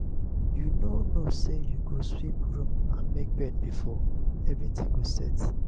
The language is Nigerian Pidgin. you no know say you go sweep room and make bed before everything go set.